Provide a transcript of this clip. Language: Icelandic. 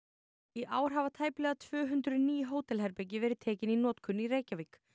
í ár hafa tæplega tvö hundruð ný hótelherbergi verið tekin í notkun í Reykjavík